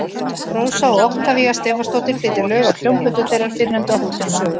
Rósa og Oktavía Stefánsdóttir flytja lög af hljómplötu þeirrar fyrrnefndu á Hótel Sögu.